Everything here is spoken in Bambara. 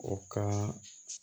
O kan